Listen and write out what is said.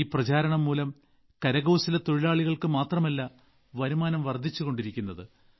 ഈ പ്രചാരണംമൂലം കരകൌശലതൊഴിലാളികൾക്ക് മാത്രമല്ല വരുമാനം വർധിച്ചുകൊണ്ടിരിക്കുന്നത്